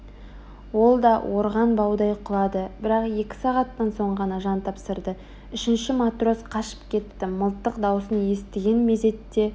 ол да орған баудай құлады бірақ екі сағаттан соң ғана жан тапсырды үшінші матрос қашып кетті мылтық даусын естіген мезетте